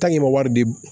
wari bi